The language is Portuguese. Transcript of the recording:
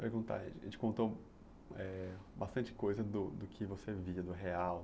Perguntar, a gente contou eh bastante coisa do do que você via, do real.